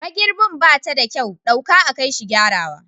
Mairbin bata da kyau, ɗauka a kaishi gyarawa.